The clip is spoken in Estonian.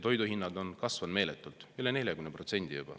Toiduhinnad on kasvanud meeletult, juba üle 40%.